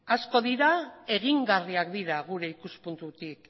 asko dira egingarriak dira gure ikuspuntutik